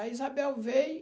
A Isabel veio...